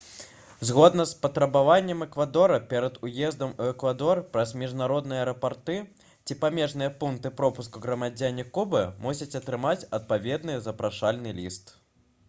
згодна з патрабаваннем эквадора перад уездам у эквадор праз міжнародныя аэрапорты ці памежныя пункты пропуску грамадзяне кубы мусяць атрымаць адпаведны запрашальны ліст